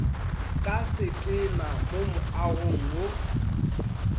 ka setena mo moagong wo